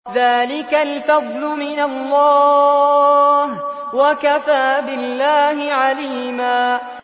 ذَٰلِكَ الْفَضْلُ مِنَ اللَّهِ ۚ وَكَفَىٰ بِاللَّهِ عَلِيمًا